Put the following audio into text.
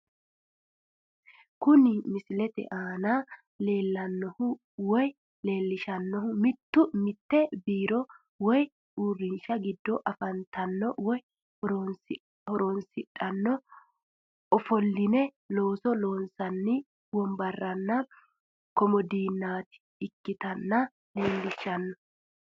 Kuni misilete aana la'neemohu woyi leelishano mite birro woyi uurinsha gido afantanno woyi horonsidhano offoline looso loonsanni wombarenna komodiinati ikkinotta leellishano